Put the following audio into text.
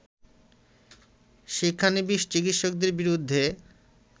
শিক্ষানবিস চিকিৎসকদের বিরুদ্ধে